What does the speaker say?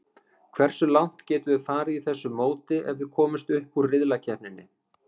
Hversu langt getum við farið í þessu móti ef við komumst upp úr riðlakeppninni?